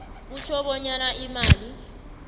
kutjho bonyana imali